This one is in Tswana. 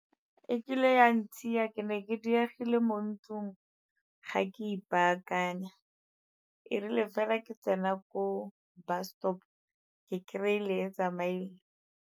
E kile ya ntshiya, ke ne ke diegile mo ntlung ga ke ipaakanya, e rile fela ke tsena ko bus stop ke kry-ile e tsamaile.